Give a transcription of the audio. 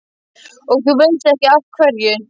Og þú veist ekki af hverju?